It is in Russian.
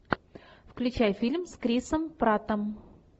включай фильм с крисом праттом